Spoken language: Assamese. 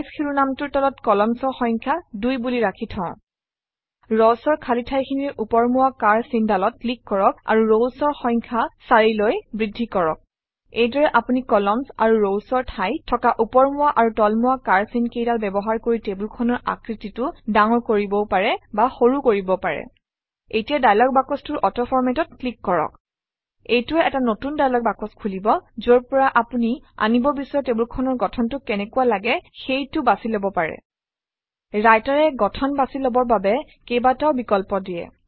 চাইজ শিৰোনামটোৰ তলত columns অৰ সংখ্যা 2 বুলি ৰাখি থওঁ Rows অৰ খালী ঠাইখিনিৰ ওপৰমুৱা কাঁড় চিনডালত ক্লিক কৰক আৰু Rows অৰ সংখ্যা 4 লৈ বৃদ্ধি কৰক এইদৰে আপুনি কলাম্নছ আৰু rows অৰ ঠাইত থকা ওপৰমুৱা আৰু তলমুৱা কাড় চিন কেইডাল ব্যৱহাৰ কৰি টেবুলখনৰ আকৃতিটো ডাঙৰ কৰিবও পাৰে বা সৰু কৰিবও পাৰে এতিয়া দায়লগ বাকচটোৰ অটো Format অত ক্লিক কৰক এইটোৱে এটা নতুন দায়লগ বাকচ খুলিব যৰ পৰা আপুনি আনিব বিচৰা টেবুলখনৰ গঠনটো কেনেকুৱা লাগে সেইটো বাছি লব পাৰে Writer এ গঠন বাছি লবৰ বাবে কেইবাটাও বিকল্প দিয়ে